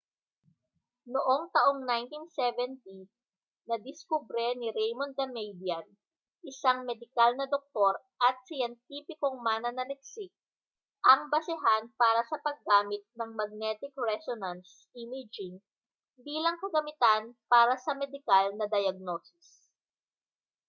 noong taong 1970 nadiskubre ni raymond damadian isang medikal na doktor at siyentipikong mananaliksik ang basehan para sa paggamit ng magnetic resonance imaging bilang kagamitan para sa medikal na diyagnosis